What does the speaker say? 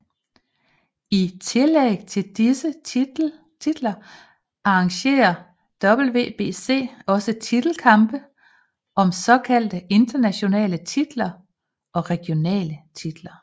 I tillæg til disse titler arrangerer WBC også titelkampe om såkaldt internationale titler og regionale titler